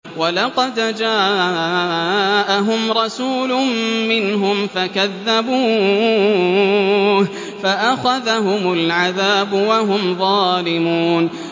وَلَقَدْ جَاءَهُمْ رَسُولٌ مِّنْهُمْ فَكَذَّبُوهُ فَأَخَذَهُمُ الْعَذَابُ وَهُمْ ظَالِمُونَ